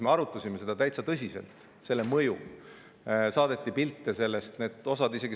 Me arutasime seda ja mõju täitsa tõsiselt, sellest saadeti ka pilte.